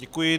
Děkuji.